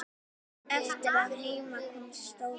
Eftir að heim kom stóðu